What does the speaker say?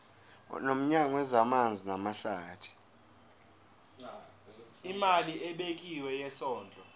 nomnyango wezamanzi namahlathi